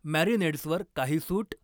मॅरिनेड्सवर काही सूट?